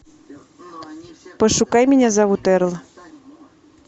пошукай меня зовут эрл